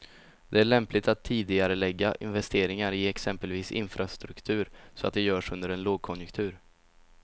Det är lämpligt att tidigarelägga investeringar i exempelvis infrastruktur, så att de görs under en lågkonjunktur.